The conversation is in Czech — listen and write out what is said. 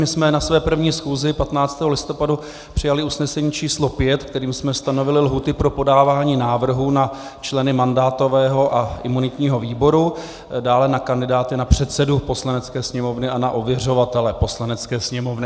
My jsme na své první schůzi 15. listopadu přijali usnesení číslo 5, kterým jsme stanovili lhůty pro podávání návrhů na členy mandátového a imunitního výboru, dále na kandidáty na předsedu Poslanecké sněmovny a na ověřovatele Poslanecké sněmovny.